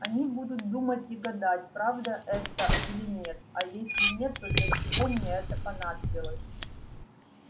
они будут думать и гадать правда это или нет а если нет то для чего мне это понадобилось